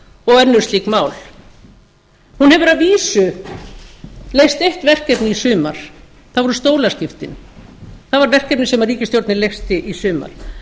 og önnur slík mál hún hefur að vísu leyst eitt verkefni í sumar það voru stólaskiptin það var verkefni sem ríkisstjórnin leysti í sumar